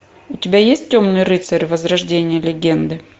у тебя есть темный рыцарь возрождение легенды